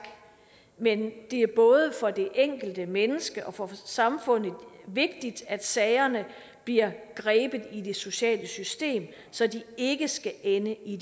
men det er både for det enkelte menneske og for samfundet vigtigt at sagerne bliver grebet i det sociale system så de ikke skal ende i